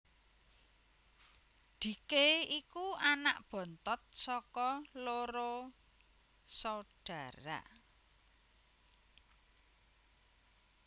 Dhike iku anak bontot saka loro saudara